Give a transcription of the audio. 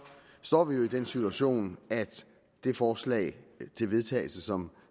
står vi jo i den situation at det forslag til vedtagelse som